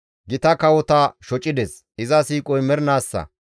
Gita kawota shocides; iza siiqoy mernaassa.